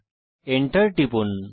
Enter টিপুন